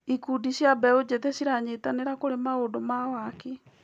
Ikundi cia mbeũ njĩthĩ ciranyitanĩra kũrĩ maũndũ ma waki.